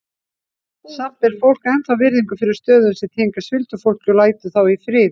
Samt ber fólk ennþá virðingu fyrir stöðum sem tengjast huldufólki og lætur þá í friði.